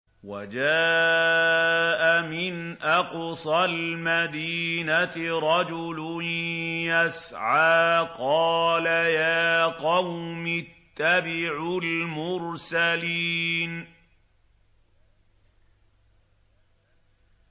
وَجَاءَ مِنْ أَقْصَى الْمَدِينَةِ رَجُلٌ يَسْعَىٰ قَالَ يَا قَوْمِ اتَّبِعُوا الْمُرْسَلِينَ